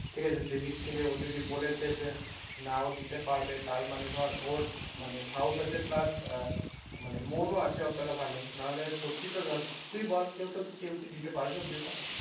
ঠিক আছে সে দিন থেকে ও যদি বলেছে যে না ও দিতে পারবে তার মানে ধর ওর মানে সাহস আছে plus আহ মন ও আছে অতটা ভালো না হলে সত্যি তো ধর, তুই বল কেউ তো কেউ কি দিতে পারবে ওমনি করে?